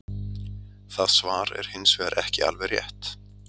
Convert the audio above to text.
Það svar er hins vegar ekki alveg rétt.